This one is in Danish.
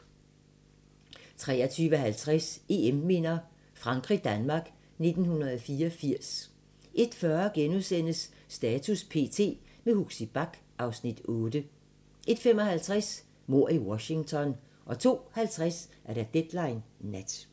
23:50: EM-minder: Frankrig-Danmark 1984 01:40: Status p.t. – med Huxi Bach (Afs. 8)* 01:55: Mord i Washington 02:50: Deadline Nat